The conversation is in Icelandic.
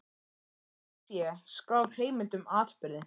Og að til sé skráð heimild um atburðinn.